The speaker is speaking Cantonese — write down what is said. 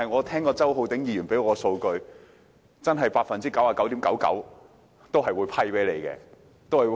然而，周浩鼎議員剛才提出數據，指 99.99% 的申請都會獲批。